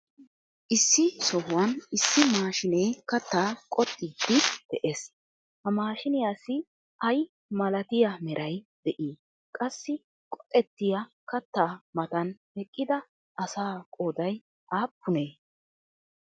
Issi sohuwan issi maashinee kattaa qoxxiidi de'ees. Ha maashiniyaassi ay malatiya meray de'ii? Qassi qoxxettiyaa kattaa mattan eqidaa asaa qooday aappunee?